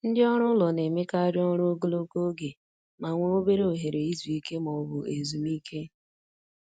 Ndị ọrụ ụlọ na-emekarị ọrụ ogologo oge ma nwee obere ohere izu ike ma ọ bụ ezumike.